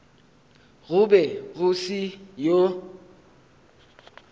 go be go se yoo